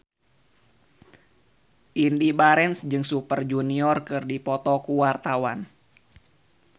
Indy Barens jeung Super Junior keur dipoto ku wartawan